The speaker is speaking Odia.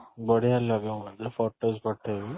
ବଢିଆ ଲାଗେ photos ପଠେଇବି